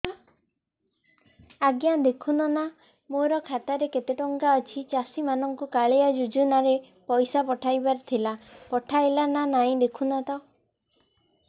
ଆଜ୍ଞା ଦେଖୁନ ନା ମୋର ଖାତାରେ କେତେ ଟଙ୍କା ଅଛି ଚାଷୀ ମାନଙ୍କୁ କାଳିଆ ଯୁଜୁନା ରେ ପଇସା ପଠେଇବାର ଥିଲା ପଠେଇଲା ନା ନାଇଁ ଦେଖୁନ ତ